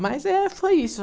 Mas, eh, foi isso.